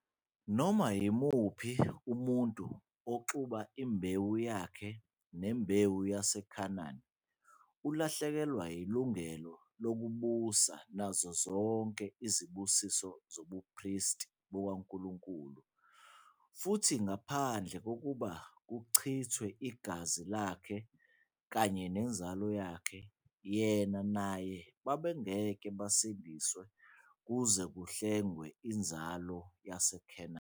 Noma yimuphi umuntu oxuba imbewu yakhe nembewu yaseKhanani ulahlekelwa ilungelo lokubusa nazo zonke izibusiso zobuPristi bukaNkulunkulu, futhi ngaphandle kokuthi kuchithwe igazi lakhe kanye nenzalo yakhe yena naye babengeke basindiswe kuze kuhlengwe inzalo yaseKhanani.